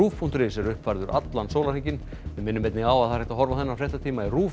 rúv punktur is er uppfærður allan sólarhringinn við minnum einnig á að það er hægt að horfa á þennan fréttatíma í RÚV